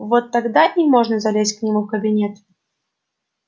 вот тогда и можно залезть к нему в кабинет